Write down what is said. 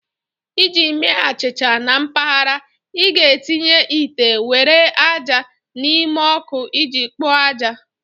Iji mee achịcha na mpaghara, ị ga-etinye ite nwere ájá n'ime ọkụ iji kpoo ájá